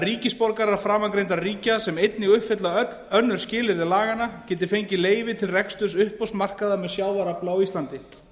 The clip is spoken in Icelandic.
ríkisborgarar framangreindra ríkja sem einnig uppfylla önnur skilyrði laganna geti fengið leyfi til reksturs uppboðsmarkaða með sjávarafla á íslandi